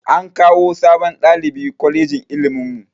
An kawo sabon ɗalibi kwalejin ilimin mu